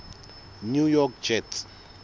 new york jets